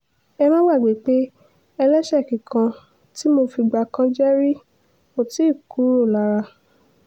ẹ má gbàgbé pé ẹlẹ́ṣẹ̀ẹ́ kíkan tí mo fìgbà kan jẹ́ rí ò tì í kúrò lára